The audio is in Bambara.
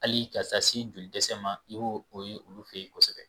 Hali ka taa se joli dɛsɛ ma i b'o o ye olu fɛ yen kosɛbɛ